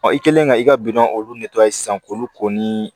i kɛlen ka i ka bidɔn olu sisan k'olu ko ni